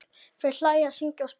Þau hlæja, syngja og spila.